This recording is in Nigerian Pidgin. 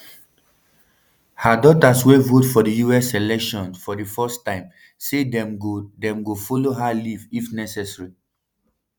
her daughters wey vote for us elections for di first time say dem go dem go follow her leave if necessary